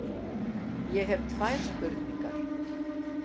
Ég fæ hér tvær spurningar.